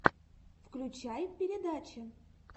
включай передачи